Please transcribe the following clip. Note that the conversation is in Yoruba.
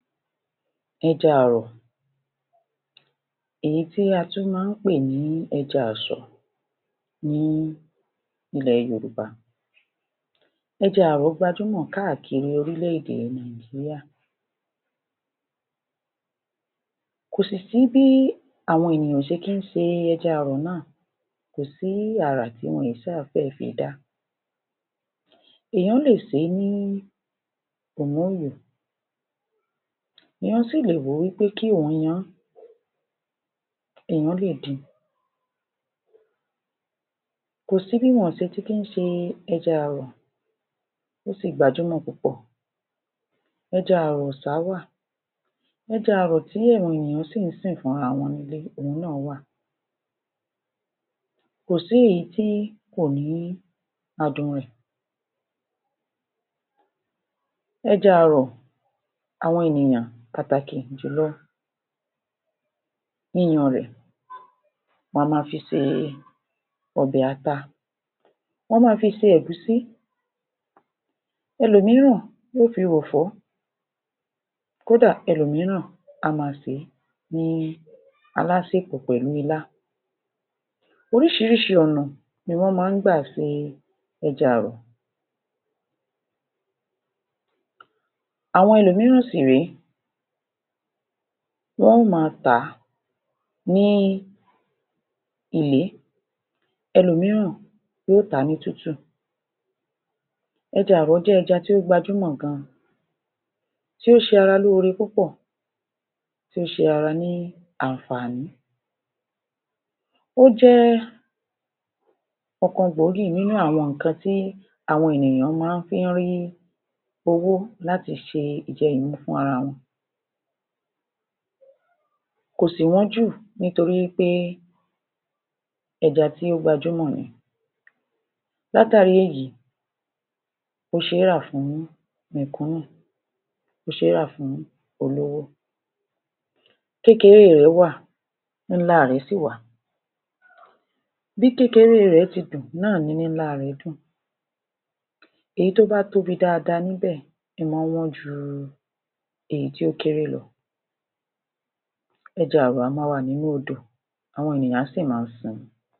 Ẹja àrọ̀, èyí tí a tún máa ń pè ní ẹja àsọ̀ ní ilẹ̀ Yorùbá. Ẹja àrọ̀ gbajúmọ̀ káàkiri orílẹ̀-èdè Nàìjíríà, kò sì sí bí àwọn ènìyàn ò ṣe kí ń se ẹja àrọ̀ náà. Kò sí àrà tí wọn èé ṣáà fẹ́ẹ̀ fi dá. Èèyàn lè sè é ní ìmóòyò, èèyàn sì lè wò ó pé kí òún yan án, èèyàn lè din. Kò sí bí wọn ò ṣe tí kí ń se ẹja àrọ̀, ó sì gbajúmọ̀ púpọ̀. Ẹja àrọ̀ ọ̀sà wà, ẹja àrọ̀ tí àwọn ènìyàn sì ń sìn fúnra wọn nílé òhun náà wà. Kò sí èyí tí kò ní adùn rẹ̀. Ẹja àrọ̀, àwọn ènìyàn, pàtàkì jùlọ yíyan rẹ̀, wọn a máa fi se ọbẹ̀ ata, wọn máa fi se ẹ̀gúsí, ẹlòmíràn lè fi ròfọ́. Kódà, ẹlòmíràn á máa sè é. bí i alásèpọ̀ pẹ̀lú ilá. Oríṣiríṣi ọ̀nà ni wọ́n máa ń gbà se ẹja àrọ̀, àwọn ẹlòmíràn sì rèé wọ́n ó máa tà á ní ìlé. Ẹlòmíràn yóò tà á ní tútù. Ẹja àrọ̀ jẹ́ ẹja tó gbajúmọ̀ gan, tí ó ṣe ara lóore púpọ̀, tí ó ṣe ara ní àǹfààní. Ó jẹ́ ọ̀kan gbòógì nínú àwọn nǹkan tí àwọn ènìyàn máa fí ń rí owó láti ṣe ìjẹ-ìmu fún ara wọn. Kò sì wọ́n jù nítorí í pé ẹja tí ó gbajúmọ̀ ni. Látàrí èyí, ó ṣe é rà fún mẹ̀kúnnù, ó ṣe é rà fún olówó. Kékeré rẹ̀ wà, ńlá rẹ̀ sì wà. Bí kékeré rè ti dùn náà ni ńlá rẹ̀ dùn. Èyí tó bá tóbi dáadáa níbẹ̀, ín mọ́ ń wọ́n jù èyí tí ó kéré lọ. Ẹja àrọ̀ a máa wà nínú odò, àwọn ènìyàn á sì máa sìn ín.